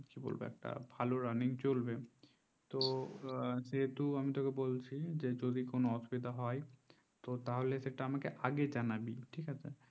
কি বলবো এটা ভালো running চলবে তো যেহেতু আমি তোকে বলছি যে যদি কোনো অসুবিধা হয় ও তাহলে সেটা আমাকে আগে জানাবি ঠিক আছে